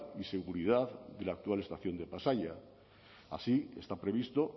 y seguridad de la actual estación de pasaia así está previsto